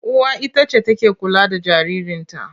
Uwa ita ce take kula da jaririnta.